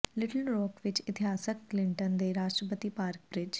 little Rock ਵਿਚ ਇਤਿਹਾਸਕ Clinton ਦੇ ਰਾਸ਼ਟਰਪਤੀ ਪਾਰਕ ਬ੍ਰਿਜ